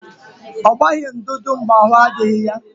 Ọ gbaghị ndụdụ mgbe ahụ adịghị ya